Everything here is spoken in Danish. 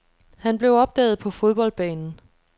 Han blev opdaget på fodboldbanen.